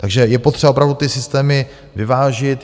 Takže je potřeba opravdu ty systémy vyvážit.